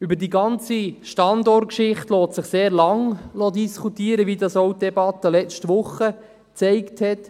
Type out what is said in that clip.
Über die ganze Standortgeschichte lässt sich sehr lange diskutieren, wie auch die Debatte letzte Woche gezeigt hat.